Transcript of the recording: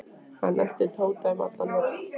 Hann elti Tóta um allan völl.